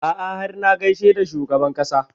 A'a har na gaishe da shugaban ƙasa